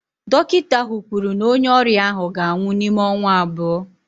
Dọkịta ahụ kwuru na onye ọrịa ahụ ga-anwụ n'ime ọnwa abụọ